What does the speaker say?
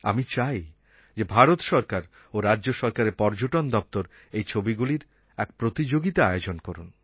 আমি চাই যে ভারত সরকার ও রাজ্য সরকারের পর্যটন দপ্তর এই ছবিগুলির এক প্রতিযোগিতা আয়োজন করুন